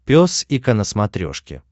пес и ко на смотрешке